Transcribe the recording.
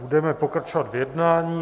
Budeme pokračovat v jednání.